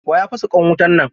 Wa ya fasa ƙwan wutan nan?